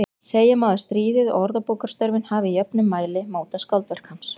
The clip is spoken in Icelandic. Segja má að stríðið og orðabókarstörfin hafi í jöfnum mæli mótað skáldverk hans.